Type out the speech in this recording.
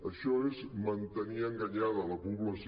això és mantenir enganyada la població